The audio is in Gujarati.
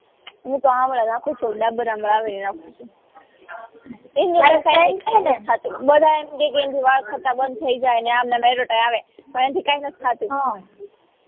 હું તો આમળા નાખું છું ડાબર આમળા આવે એ નાખું છું બધ્ધા ઇમ કે કે એના થી વાળ ખરતા બંધ થઇ જાય ને પન એનાથી કઈ નાત થાતું હમ